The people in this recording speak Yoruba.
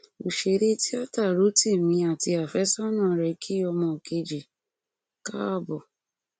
òṣèré tíáta rotimi àti àfẹsọnà rẹ kí ọmọ kejì káàbọ